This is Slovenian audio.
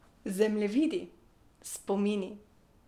Zemljevidi, spomini.